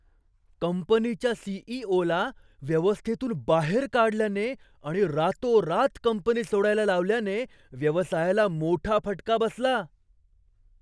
कंपनीच्या सी.ई.ओ.ला व्यवस्थेतून बाहेर काढल्याने आणि रातोरात कंपनी सोडायला लावल्याने व्यवसायाला मोठा फटका बसला.